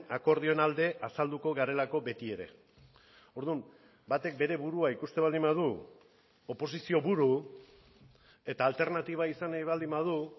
akordioen alde azalduko garelako beti ere orduan batek bere burua ikusten baldin badu oposizio buru eta alternatiba izan nahi baldin badu